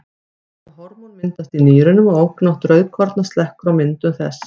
Þetta hormón myndast í nýrunum og ofgnótt rauðkorna slekkur á myndun þess.